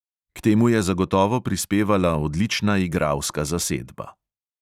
K temu je zagotovo prispevala odlična igralska zasedba.